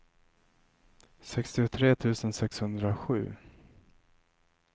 sextiotre tusen sexhundrasju